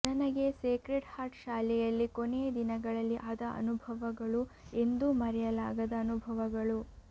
ನನಗೆ Sacred Heart ಶಾಲೆಯಲ್ಲಿ ಕೊನೆಯ ದಿನಗಳಲ್ಲಿ ಆದ ಅನುಭವಗಳು ಎಂದೂ ಮರೆಯಲಾಗದ ಅನುಭವಗಳು